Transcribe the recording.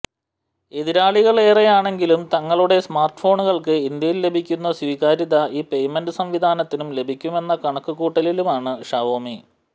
എതിരാളികളേറെയാണെങ്കിലും തങ്ങളുടെ സ്മാര്ട്ഫോണുകള്ക്ക് ഇന്ത്യയില് ലഭിക്കുന്ന സ്വീകാര്യത ഈ പെയ്മെന്റ് സംവിധാനത്തിനും ലഭിക്കുമെന്ന കണക്കുകൂട്ടലിലാണ് ഷവോമി